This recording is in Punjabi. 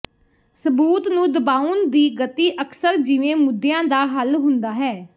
ਸਬੂਤ ਨੂੰ ਦਬਾਉਣ ਦੀ ਗਤੀ ਅਕਸਰ ਜਿਵੇਂ ਮੁੱਦਿਆਂ ਦਾ ਹੱਲ ਹੁੰਦਾ ਹੈ